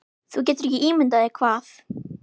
Þú getur ekki ímyndað þér hvað